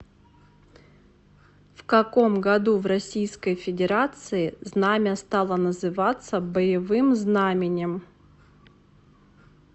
в каком году в российской федерации знамя стало называться боевым знаменем